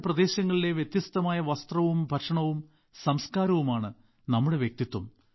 വ്യത്യസ്ത പ്രദേശങ്ങളിലെ വ്യത്യസ്തമായ വസ്ത്രവും ഭക്ഷണവും സംസ്കാരവുമാണ് നമ്മുടെ വ്യക്തിത്വം